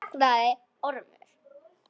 Nú þagnaði Ormur.